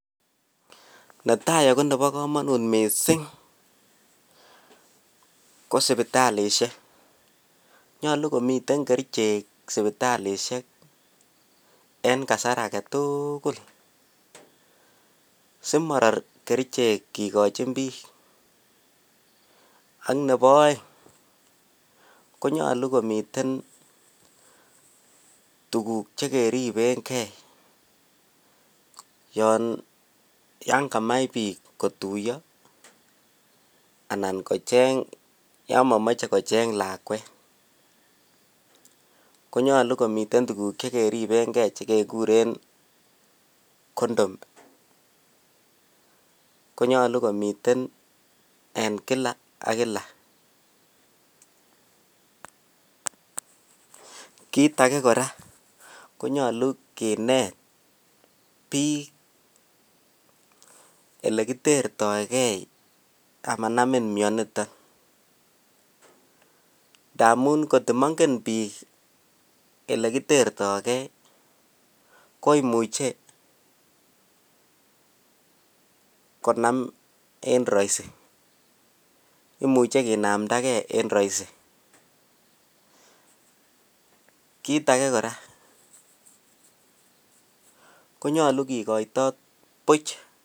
netai ago nebo komonut misiing ko sibitalishek, nyolu komii ten kericheek sibitalishek en kasaar agetuguul simoror kerichek kigochin biik, ak nebo oeng konyolu komiten tuguk chegeribeen gee yoon yan kamach biik kotuyoo anan kocheng yon momoche kocheng lakweet konyolu komiten tuguk chegeriben gee chegegureen condom ko nyolu komiten en kila ak kila, kiit agee koraa konyoluu kineet biik elegitertoi gee amanamin myoniton ndamun kot komongen biik elekitertogei, koimuche konaam en roisi imuche kinaamdagee en roisi kiit age koraa konyolu kii goitoot buch